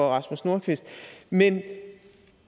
rasmus nordqvist men